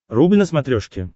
рубль на смотрешке